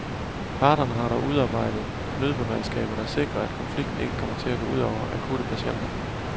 Parterne har dog udarbejdet nødberedskaber, der sikrer, at konflikten ikke kommer til at gå ud over akutte patienter.